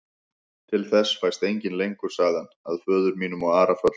Til þess fæst enginn lengur, sagði hann,-að föður mínum og Ara föllnum.